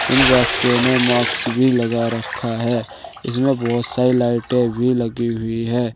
इन व्यक्तियों ने मास्क भी लगा रखा है इसमें बहुत सारी लाइटें भी लगी हुई है।